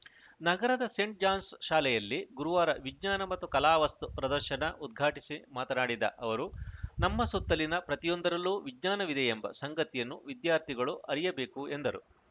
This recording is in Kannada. ನಗರದ ಸೇಂಟ್‌ ಜಾನ್ಸ್‌ ಶಾಲೆಯಲ್ಲಿ ಗುರುವಾರ ವಿಜ್ಞಾನ ಮತ್ತು ಕಲಾ ವಸ್ತು ಪ್ರದರ್ಶನ ಉದ್ಘಾಟಿಸಿ ಮಾತನಾಡಿದ ಅವರು ನಮ್ಮ ಸುತ್ತಲಿನ ಪ್ರತಿಯೊಂದರಲ್ಲೂ ವಿಜ್ಞಾನವಿದೆಯೆಂಬ ಸಂಗತಿಯನ್ನು ವಿದ್ಯಾರ್ಥಿಗಳು ಅರಿಯಬೇಕು ಎಂದರು